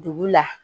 Dugu la